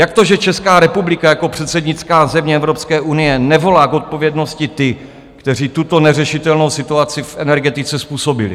Jak to, že Česká republika jako předsednická země Evropské unie nevolá k odpovědnosti ty, kteří tuto neřešitelnou situaci v energetice způsobili?